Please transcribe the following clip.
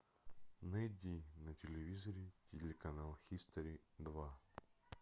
найди на телевизоре телеканал хистори два